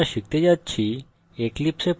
in tutorial আমরা শিখতে যাচ্ছি